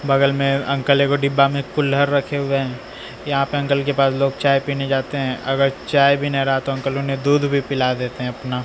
बगल में अंकल एगो डिब्बा में कुल्हर रखे हुए हैं यहां पे अंकल के पास लोग चाय पीने जाते हैं अगर चाय भी न रहा तो अंकल उन्हें दूध भी पिला देते हैं अपना।